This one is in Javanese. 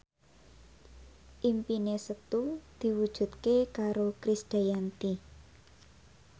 impine Setu diwujudke karo Krisdayanti